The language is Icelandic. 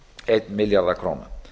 einn milljarð króna